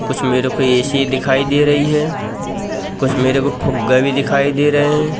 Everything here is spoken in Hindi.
कुछ मेरे को ए_सी दिखाई दे रही है कुछ मेरे को फुग्गा भी दिखाई दे रहें हैं।